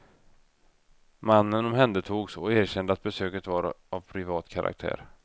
Mannen omhändertogs och erkände att besöket var av privat karaktär.